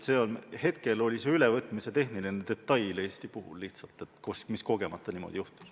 Direktiivi ülevõtmise tehniline detail Eesti puhul lihtsalt mängis, kogemata niimoodi juhtus.